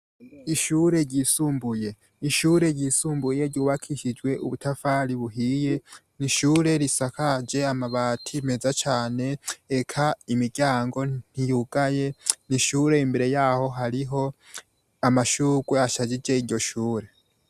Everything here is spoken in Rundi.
Ishure ryisumbuye ishure ryisumbuye ryubakishijwe ubutafari buhiye nishure risakaje amabati meza cane eka imiryango ntiyugaye nishure imbere yaho hariho amashurwe ashajije iryo shure.